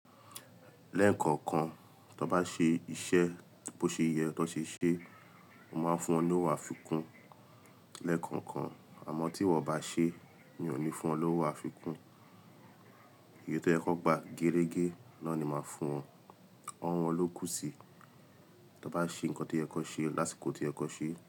Lẹ́ẹ̀kọ̀kan, tó n bá ṣe iṣẹ́ bó ṣe yẹ kan ṣe ṣe, mo máa fún wọn ní òwo afikún. Lẹ́ẹ̀kọ̀kan, àmọ́ tí wọn bá ṣe, mi ò ní fún wọn lówó àfikún. Èyí tó yẹ kọn gbà gerege náà ni maa fún wọn. Ọ̀wo won lókù si. Tó n bá ṣe nǹkan tí oyẹ kọn ṣe lásìkò toyẹ kọn ṣe.